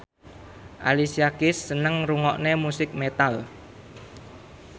Alicia Keys seneng ngrungokne musik metal